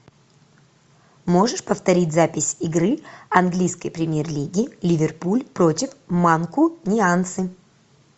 можешь повторить запись игры английской премьер лиги ливерпуль против манкунианцы